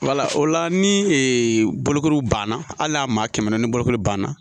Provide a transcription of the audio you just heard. o la ni bolokoli banna hali n'a maa kɛmɛ ni bolokoli banna